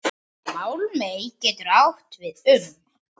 Málmey getur átt við um